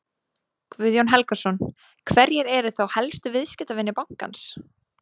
Guðjón Helgason: Hverjir eru þá helstu viðskiptavinir bankans?